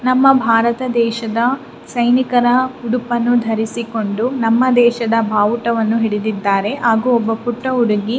ನಮ್ಮ ಭಾರತ ದೇಶದ ಸೈನಿಕ ರ ಉಡುಪನ್ನು ಧರಿಸಿಕೊಂಡು ನಮ್ಮ ದೇಶದ ಬಾವುಟವನ್ನು ಹಿಡಿದ್ದಾರೆ ಹಾಗು ಒಬ್ಬ ಪುಟ್ಟ ಹುಡುಗಿ --